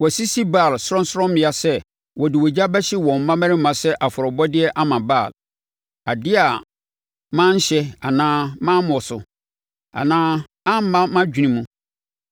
Wɔasisi Baal sorɔnsorɔmmea sɛ wɔde ogya bɛhye wɔn mmammarima sɛ afɔrebɔdeɛ ama Baal, adeɛ a manhyɛ anaa mammɔ so, anaa amma mʼadwene mu.